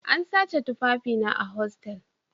An sace tufafina a hostal